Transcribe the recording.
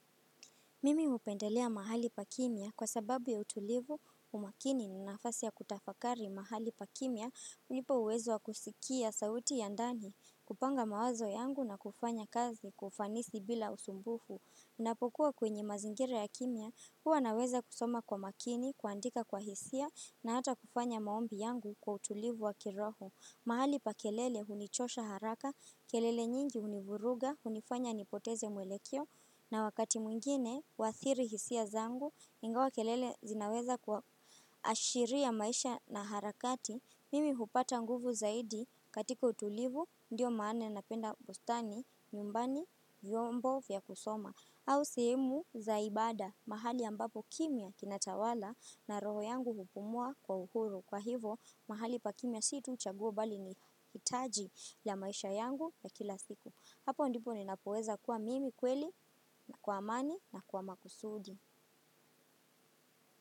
Mimi hupendelea mahali pa kimya kwa sababu ya utulivu, umakini ni nafasi ya kutafakari mahali pa kimia, hunipa uwezo wa kusikia sauti ya ndani, kupanga mawazo yangu na kufanya kazi kwa ufanisi bila usumbufu. Unapokuwa kwenye mazingira ya kimya, huwa naweza kusoma kwa makini, kuandika kwa hisia na hata kufanya maombi yangu kwa utulivu wa kiroho. Mahali pa kelele hunichosha haraka, kelele nyingi hunivuruga, hunifanya nipoteze mwelekeo na wakati mwingine, huathiri hisia zangu, ingawa kelele zinaweza kuashiria maisha na harakati, Mimi hupata nguvu zaidi katika utulivu, ndiyo maana napenda bustani, nyumbani, vyombo vya kusoma au sehemu za ibada, mahali ambapo kimya kinatawala na roho yangu hupumua kwa uhuru. Kwa hivo mahali pa kimya si tu chaguo bali ni hitaji ya maisha yangu ya kila siku. Hapo ndipo ninapoweza kwa mimi kweli na kwa amani na kwa makusudi.